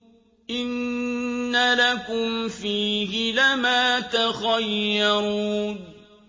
إِنَّ لَكُمْ فِيهِ لَمَا تَخَيَّرُونَ